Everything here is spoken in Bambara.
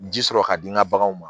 Ji sɔrɔ ka di n ka baganw ma